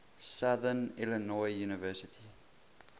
southern illinois university